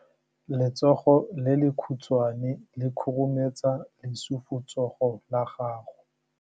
Letsogo le lekhutshwane le khurumetsa lesufutsogo la gago.